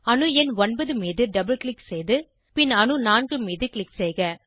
அணு எண் 9 மீது டபுள் க்ளிக் செய்து பின் அணு 4 மீது க்ளிக் செய்க